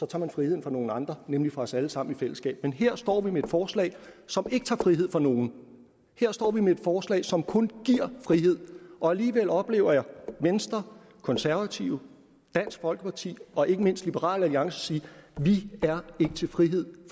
tager man friheden fra nogle andre nemlig os alle sammen i et fællesskab men her står vi med et forslag som ikke tager friheden fra nogen her står vi med et forslag som kun giver frihed og alligevel oplever jeg venstre konservative dansk folkeparti og ikke mindst liberal alliance sige vi er ikke til frihed